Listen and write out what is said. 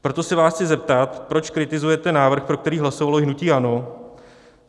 Proto se vás chci zeptat, proč kritizujete návrh, pro který hlasovalo hnutí ANO?